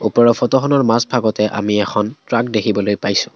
ওপৰৰ ফটোখনৰ মাজভাগতে আমি এখন ট্ৰাক দেখিবলৈ পাইছোঁ।